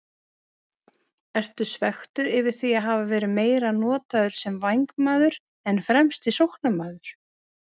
Ertu svekktur yfir því að hafa verið meira notaður sem vængmaður en fremsti sóknarmaður?